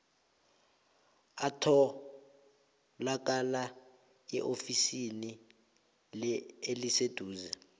atholakala eofisini eliseduze